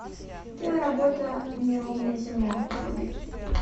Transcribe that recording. киноработа неровная земля вруби